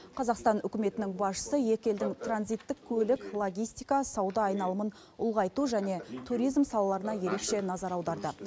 қазақстан үкіметінің басшысы екі елдің транзиттік көлік логистика сауда айналымын ұлғайту және туризм салаларына ерекше назар аударды